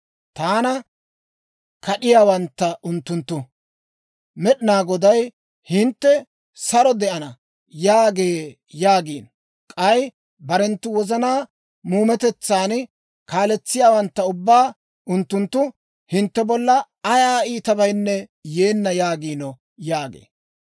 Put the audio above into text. Taana kad'iyaawantta unttunttu, ‹Med'inaa Goday, hintte saro de'ana› yaagee yaagiino. K'ay barenttu wozanaa muumetetsaa kaaletsiyaawantta ubbaa unttunttu, ‹Hintte bolla ayaa iitabaynne yeenna› yaagiino» yaagee.